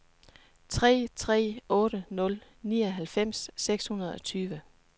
tre tre otte nul nioghalvfems seks hundrede og tyve